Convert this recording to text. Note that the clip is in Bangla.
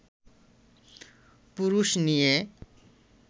পুরুষ নিয়ে